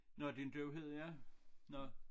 Nåh din døvhed ja nåh